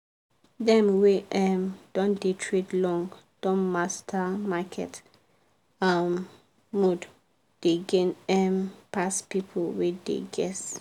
dem wey um don dey trade long don master market um mood dem gain um pass people wey dey guess.